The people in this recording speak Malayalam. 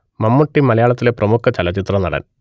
മമ്മൂട്ടി മലയാളത്തിലെ പ്രമുഖ ചലച്ചിത്രനടൻ